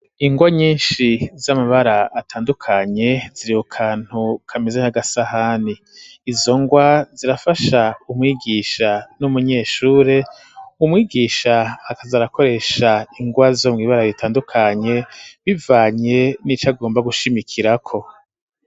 Ingwa nyinshi z'amabara atandukanye ziriwo kantu kameze k'agasahani izo ngwa zirafasha umwigisha n'umunyeshure umwigisha akazarakoresha ingwa zo mw'ibara ritandukanye bivanye n'ico agomba gushimikirako.